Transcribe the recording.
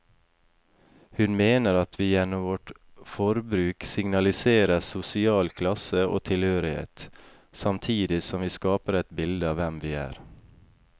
Hun mener at vi gjennom vårt forbruk signaliserer sosial klasse og tilhørighet, samtidig som vi skaper et bilde av hvem vi er.